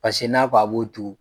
Pase n'a kɔ a b'o tugu